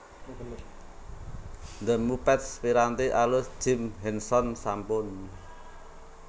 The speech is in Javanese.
The Muppets piranti alus Jim Henson sampun